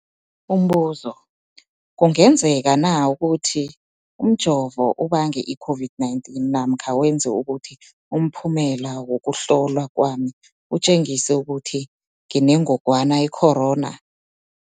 Umbuzo, kungenzekana ukuthi umjovo ubange i-COVID-19 namkha wenze ukuthi umphumela wokuhlolwa kwami utjengise ukuthi nginengogwana i-corona?